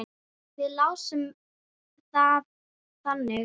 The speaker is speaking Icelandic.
Við lásum það þannig.